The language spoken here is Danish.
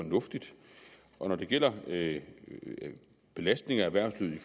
fornuftigt og når det gælder belastning af erhvervslivet i